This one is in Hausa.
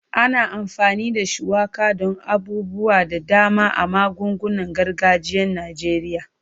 Ana amfani da shuwaka don abubuwa da dama a magungunan gargajiyan Najeriya.